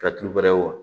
Ka tulu wɛrɛ wa